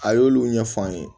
A y'olu ɲɛf'an ye